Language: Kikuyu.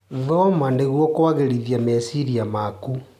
Thoma nĩguo kũagĩrithia meciria maku.